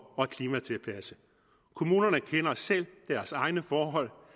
at klimatilpasse kommunerne kender selv deres egne forhold